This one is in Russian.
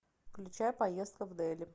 включай поездка в дели